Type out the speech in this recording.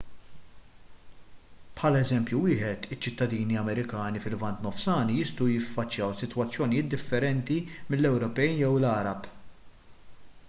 bħala eżempju wieħed iċ-ċittadini amerikani fil-lvant nofsani jistgħu jiffaċċjaw sitwazzjonijiet differenti mill-ewropej jew l-għarab